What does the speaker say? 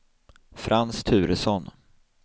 Frans Turesson